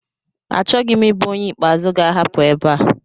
Achọghị m ịbụ onye ikpeazụ ga-ahapụ ebe a